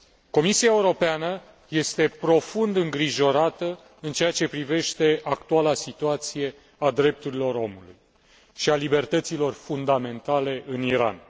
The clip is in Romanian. Comisia Europeană este profund îngrijorată în ceea ce privește actuala situație a drepturilor omului și a libertăților fundamentale în Iran.